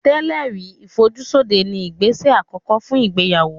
Tẹ́lẹ̀ rí ìfojúsóde ni ìgbésẹ̀ àkọ́kọ́ fún ìgbéyàwó